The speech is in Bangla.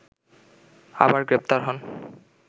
আবার গ্রেপ্তার হন